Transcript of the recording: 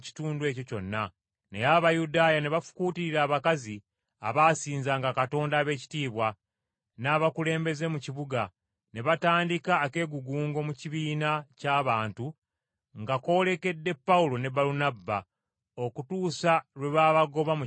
Naye Abayudaaya ne bafukuutirira abakazi abaasinzanga Katonda ab’ebitiibwa, n’abakulembeze mu kibuga, ne batandika akeegugungo mu kibiina ky’abantu nga koolekedde Pawulo ne Balunabba, okutuusa lwe baabagoba mu kitundu kyabwe.